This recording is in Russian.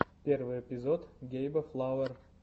первый эпизод гейба флауэр